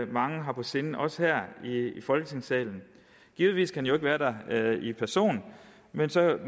mange har på sinde også her i folketingssalen givetvis kan han jo ikke være der i egen person men så